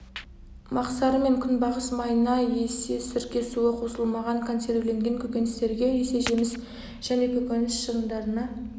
мақсары мен күнбағыс майына есе сірке суы қосылмаған консервіленген көкөністерге есе жеміс және көкөніс шырындарына